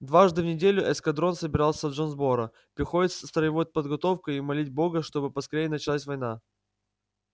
дважды в неделю эскадрон собирался в джонсборо проходить строевую подготовку и молить бога чтобы поскорее началась война